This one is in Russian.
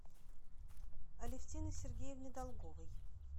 алевтины сергеевны долговой